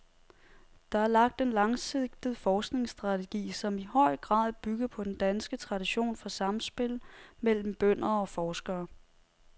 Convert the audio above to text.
Der er lagt en langsigtet forskningsstrategi, som i høj grad bygger på den danske tradition for samspil mellem bønder og forskere.